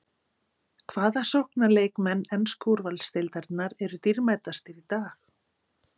Hvaða sóknarleikmenn ensku úrvalsdeildarinnar eru dýrmætastir í dag?